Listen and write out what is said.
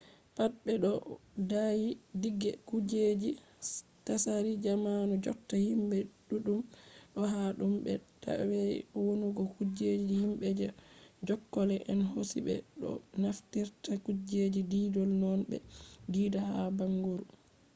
pat be ɗo daayi dige kujeji tsari zamanu jotta himɓe ɗuɗɗum ɗo hata ɗum be tabi’a wonnugo kujeji himɓe je jokkolle en hosi. ɓe ɗo naftira kujeji diidol noone ɓe diida ha bangoru